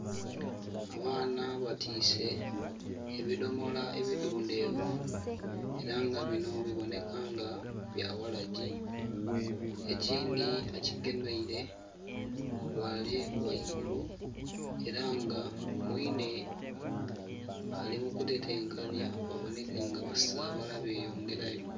Abaana batiise ebidhomola ebidhundheevu era nga bino biboneka nga bya waragi. Ekindhi akigemeire ghale ghaigulu, era nga mwiine ali mu kutetenkanhya baboneke nga basaabala beyongera yo.